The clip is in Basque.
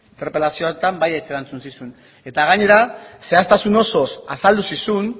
interpelazio horretan baietz erantzun zizun eta gainera zehaztasunez osoz azaldu zizun